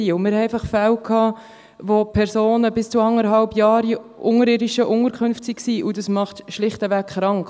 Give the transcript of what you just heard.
Wir hatten einfach Fälle, wo Personen bis zu eineinhalb Jahren in unterirdischen Unterkünften waren, und das macht schlichtweg krank.